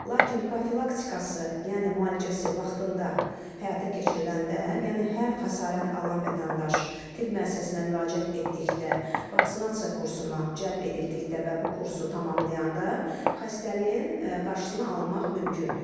Lakin profilaktikası, yəni müalicəsi vaxtında həyata keçiriləndə, yəni hər xəsarət alan vətəndaş tibb müəssisəsinə müraciət etdikdə, vaksinasiya kursuna cəlb edildikdə və bu kursu tamamlayanda, xəstəliyin qarşısını almaq mümkündür.